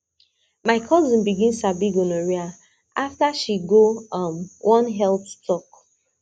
my cousin begin sabi gonorrhea after she go um one health talk